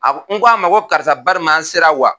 A ko, n ko a ma ko karisa bariman an sera wa?